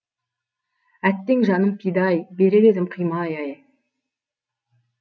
әттең жаным пида ай берер едім қимай ай